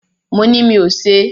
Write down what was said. Mo ni mí ò ṣe.